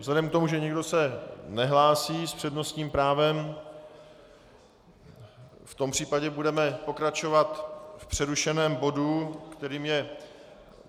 Vzhledem k tomu, že nikdo se nehlásí s přednostním právem, v tom případě budeme pokračovat v přerušeném bodu, kterým je